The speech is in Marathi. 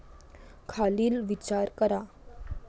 खालील विचार करा.